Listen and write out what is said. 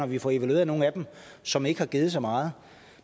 vi får evalueret nogle af dem som ikke giver så meget